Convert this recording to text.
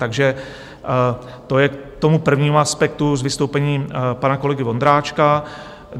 Takže to je k tomu prvnímu aspektu z vystoupení pana kolegy Vondráčka.